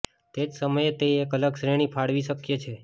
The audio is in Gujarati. તે જ સમયે તે એક અલગ શ્રેણી ફાળવી શક્ય છે